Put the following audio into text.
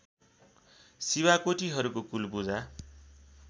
शिवाकोटीहरूको कुल पुजा